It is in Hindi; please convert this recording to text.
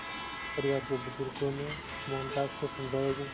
परिवार के बुज़ुर्गों ने मोहनदास को समझाया कि